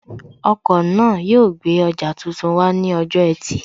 Ọkọ̀ náà yóò gbé ọjà tuntun wá ní ọjọ́ ẹtì